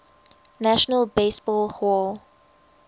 national baseball hall